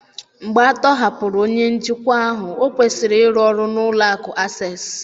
Mgbe a tọhapụrụ onye njikwa ahụ, ọ kwụsịrị ịrụ ọrụ n’ụlọ akụ̀ Access